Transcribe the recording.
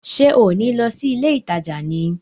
Ṣé ò ní lọ sí ilé ìtajà ni?